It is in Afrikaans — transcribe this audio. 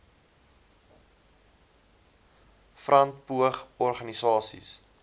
front poog organisasies